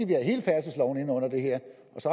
km ind under det her